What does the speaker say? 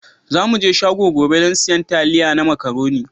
Za mu je shago gobe don siyan taliya da macaroni.